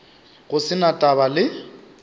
go se na taba le